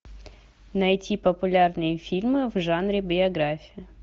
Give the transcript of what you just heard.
найти популярные фильмы в жанре биография